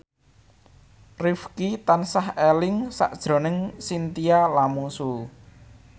Rifqi tansah eling sakjroning Chintya Lamusu